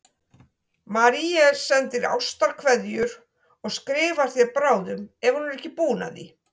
Marie sendir ástarkveðjur og skrifar þér bráðum ef hún er ekki búin að því.